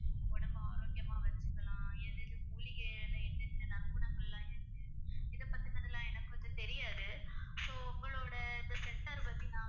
உடம்பை ஆரோக்கியமா வச்சுக்கலாம் எது எது மூலிகையில என்னென்ன நற்குணங்கள்லாம் இருக்கு இதைப் பத்தினது எல்லாம் எனக்கு கொஞ்சம் தெரியாது so உங்களோட இந்த center பத்தி நான்